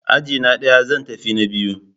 Ajina ɗaya, zan tafi na biyu